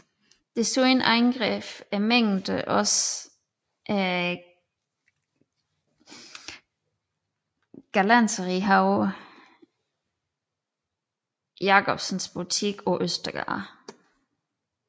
Desuden angreb mængden også galanterihaver Jacobsens butik på Østergade